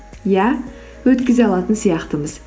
иә өткізе алатын сияқтымыз